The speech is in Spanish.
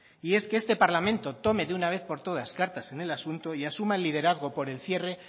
y es que este parlamento tome de una vez por todas cartas en el asunto y asuma el liderazgo por el cierre